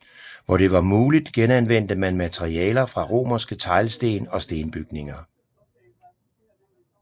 Hvor det var muligt genanvendte man materialer fra romerske teglsten og stenbygninger